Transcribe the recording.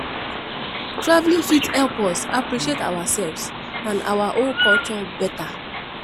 Traveling fit help us appreciate ourselves and our own culture better